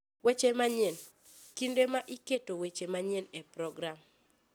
Weche Manyien: Kinde ma iketo weche manyien e program.